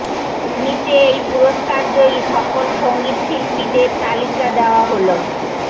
নিচে এই পুরস্কার জয়ী সকল সঙ্গীতশিল্পীদের তালিকা দেওয়া হলঃ